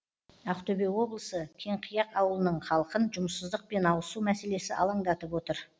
ақтөбе облысы кеңқияқ ауылының халқын жұмыссыздық пен ауызсу мәселесі алаңдатып отыр